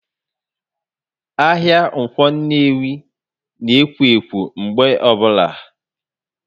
Ahịa Ǹkwọ Nnewi na ekwo ekwo mgbe obula